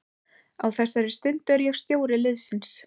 Á þessari stundu er ég stjóri liðsins.